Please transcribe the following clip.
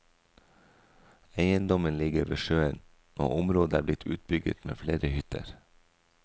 Eiendommen ligger ved sjøen og området er blitt utbygget med flere hytter.